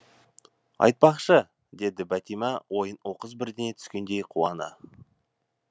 айтпақшы деді бәтима ойына оқыс бірдеңе түскендей қуана